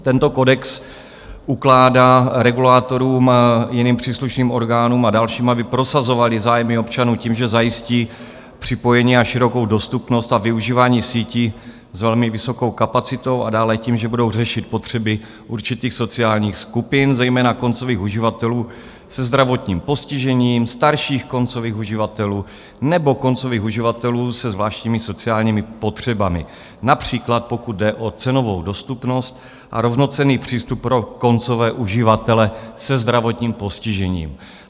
Tento kodex ukládá regulátorům, jiným příslušným orgánům a dalším, aby prosazovaly zájmy občanů tím, že zajistí připojení a širokou dostupnost a využívání sítí s velmi vysokou kapacitou, a dále tím, že budou řešit potřeby určitých sociálních skupin, zejména koncových uživatelů se zdravotním postižením, starších koncových uživatelů nebo koncových uživatelů se zvláštními sociálními potřebami, například pokud jde o cenovou dostupnost a rovnocenný přístup pro koncové uživatele se zdravotním postižením.